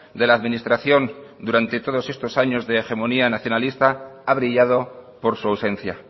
de la administración durante todos estos años de hegemonía nacionalista ha brillado por su ausencia